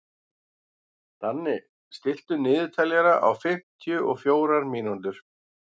Danni, stilltu niðurteljara á fimmtíu og fjórar mínútur.